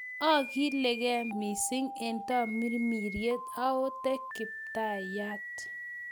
Ogilge mising' eng' tamirmiriet ,oote Kiptaityat.